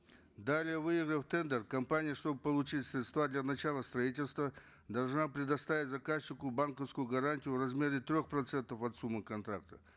далее выиграв тендер компания чтобы получить средства для начала строительства должна предоставить заказчику банковскую гарантию в размере трех процентов от суммы контракта